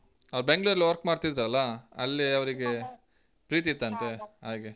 ಅಹ್ ಅವ್ರ್ ಬೆಂಗ್ಳೂರ್ ಅಲ್ಲ್ work ಮಾಡ್ತಿದ್ರಲ್ಲಾ, ಅಲ್ಲೇ ಅವ್ರಿಗೆ. ಪ್ರೀತಿ ಇತ್ತಂತೆ ಹಾಗೆ.